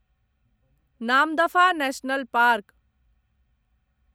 Namdapha national park